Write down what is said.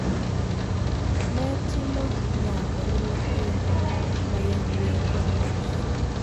ne timo nyango ne nyithindo ma yawuowi kod ma nyiri.